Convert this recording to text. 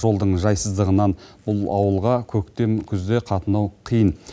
жолдың жайсыздығынан бұл ауылға көктем күзде қатынау қиын